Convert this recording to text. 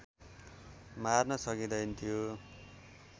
मार्न सकिँदैनथ्यो